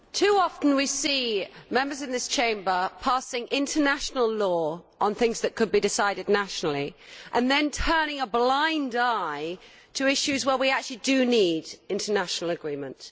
Mr President, too often we see Members of this Chamber passing international law on things that could be decided nationally and then turning a blind eye to issues where we actually do need international agreement.